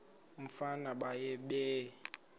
umfana baye bee